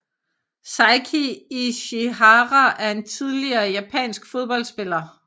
Seiki Ichihara er en tidligere japansk fodboldspiller